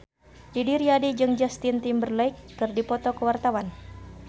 Didi Riyadi jeung Justin Timberlake keur dipoto ku wartawan